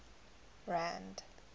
rand